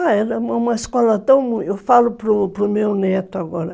Ah, era uma escola tão... Eu falo para para meu neto, agora.